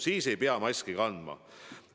Siis ei pea maski kandma.